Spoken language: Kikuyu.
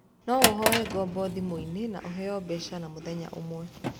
No ũhoe ngombo thimũ-inĩ na ũheo mbeca na mũthenya ũmwe